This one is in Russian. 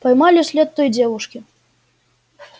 поймали след той девушки